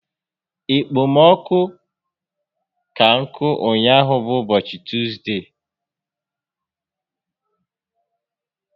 Okpomọkụ ka nkụ ụnyaahụ bụ ụbọchị Tuzde